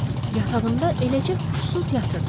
Yatağında eləcə huşsuz yatırdı.